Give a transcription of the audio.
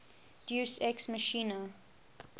deus ex machina